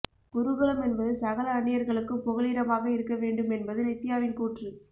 குருகுலம் என்பது சகல அன்னியர்களுக்கும் புகலிடமாக இருக்கவேண்டும் என்பது நித்யாவின் கூற்று